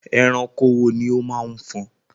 Ẹranko wo ni ó máa ń fọn?